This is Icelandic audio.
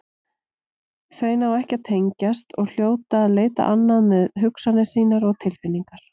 Þau ná ekki að tengjast og hljóta að leita annað með hugsanir sínar og tilfinningar.